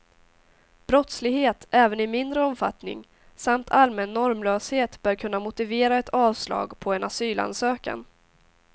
Brottslighet, även i mindre omfattning, samt allmän normlöshet bör kunna motivera ett avslag på en asylansökan.